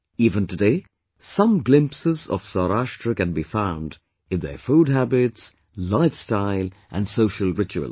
Even today, some glimpses of Saurashtra can be found in their food habits, lifestyle and social rituals